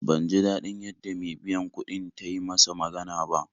Ban ji daɗin yadda me biyan kuɗin ta yi masa magana ba